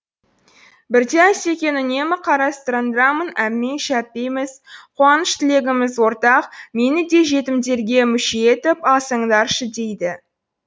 бірде асекең үнемі қарастарыңдамын әмпей жәмпейміз қуаныш тілегіміз ортақ мені де жетімдерге мүше етіп алсаңдаршы дейді